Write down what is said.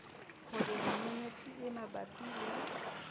hore menyenyetsi e mabapi le